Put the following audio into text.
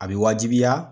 A bɛ wajibiya